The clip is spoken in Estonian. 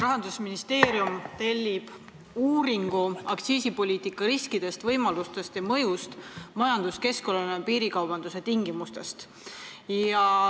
Rahandusministeerium on tellinud uuringu "Aktsiisipoliitika riskid, võimalused ja mõju majanduskeskkonnale piirikaubanduse tingimustes".